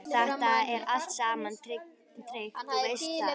Þetta er allt saman tryggt, þú veist það.